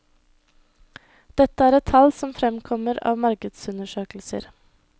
Dette er tall som fremkommer av markedsundersøkelser.